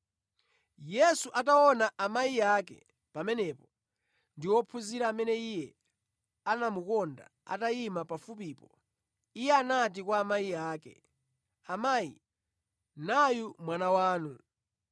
Yesu ataona amayi ake pamenepo ndi wophunzira amene Iye anamukonda atayima pafupipo, Iye anati kwa amayi ake, “Amayi nayu mwana wanu.”